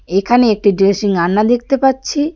এখানে একটি ড্রেসিং আয়না দেখতে পাচ্ছি.